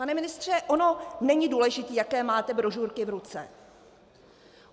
Pane ministře, ono není důležité, jaké máte brožurky v ruce.